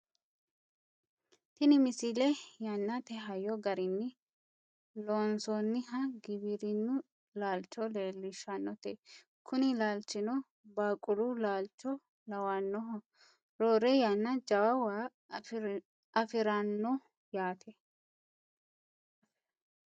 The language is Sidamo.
tini misile yannate hayyo garinni loonsoonniha giwirinnu laalcho leellishshannote kuni laalchino baaaqulu laalcho lawannoho roore yannara jawa waa afirannoho yaate